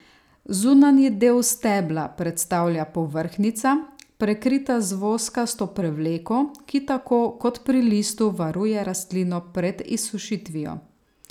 Zunanji del stebla predstavlja povrhnjica, prekrita z voskasto prevleko, ki tako kot pri listu, varuje rastlino pred izsušitvijo.